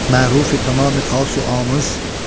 mərufi tamam-i xasu amuz.